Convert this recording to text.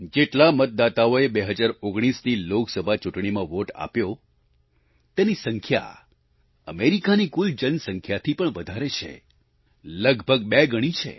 જેટલા મતદાતાઓએ 2019ની લોકસભા ચૂંટણીમાં વોટ આપ્યો તેની સંખ્યા અમેરિકાની કુલ જનસંખ્યાથી પણ વધારે છે લગભગ બે ગણી છે